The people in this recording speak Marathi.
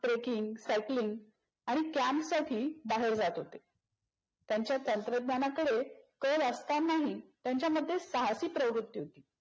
trekking, cycling आणि CAMP साठी बाहेर जात होते. त्यांचा तंत्रज्ञानाकडे कल असतानाही त्यांच्यामध्ये साहसी प्रवृत्ती होती.